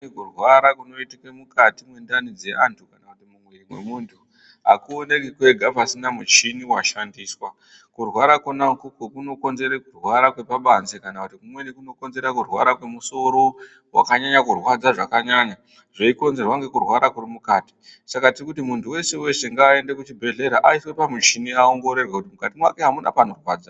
Kurwara kunoitika mukati mwendani yemuntu akuonekwi kwega pasina muchini washandiswa. Kurwara kwona ikwokwo kunokonzera kurwara kwepabanze kana kumweni kukonzera kurwara kwemusoro. Wakanyanya kurwadza zvakanyanya zveikonzerwa ngekurwara kuri mukati. Saka tiri kuti muntu weshe weshe ngaaende kuchibhedhleya aongororwe kuti mukati mwake amuna panorwadza.